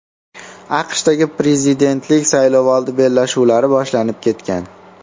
AQShdagi prezidentlik saylovoldi bellashuvlari boshlanib ketgan.